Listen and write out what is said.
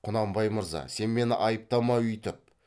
құнанбай мырза сен мені айыптама үйтіп